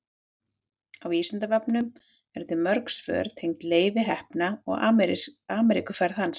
á vísindavefnum eru til mörg svör tengd leifi heppna og ameríkuferð hans